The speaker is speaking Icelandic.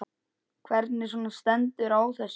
Hvernig svona stendur á þessu?